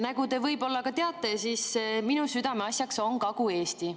Nagu te võib-olla teate, minu südameasjaks on Kagu-Eesti.